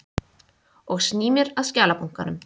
Og sný mér að skjalabunkanum.